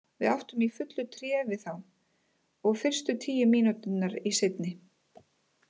Við áttum í fullu tré við þá, og fyrstu tíu mínúturnar í seinni.